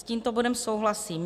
S tímto bodem souhlasím.